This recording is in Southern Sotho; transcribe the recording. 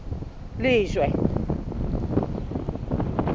lejwe